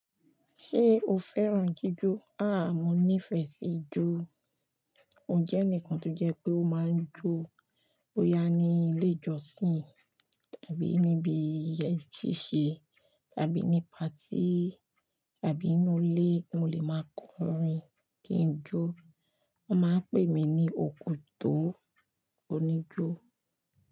Ṣé o fẹ́ràn jíjó? Àá, mo nífẹ̀ẹ́ sí ijó. Mo jẹ́ ẹnìkan tó jẹ́ pé ó máa ń jó. Boya ní ilé ìjọsìn tàbí níbi iyèsi ṣíṣe tàbí ní paatí tàbí ínú ilé, ni mo lè máa kọrin kí n jó. Wọ́n máa ń pè mí ní òkotó óníjó.